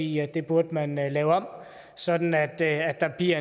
i at det burde man lave om sådan at at der bliver